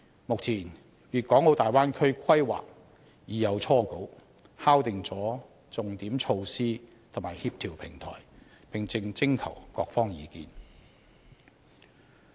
目前，大灣區規劃已有初稿，敲定重點措施和協調平台，並正徵求各方意見。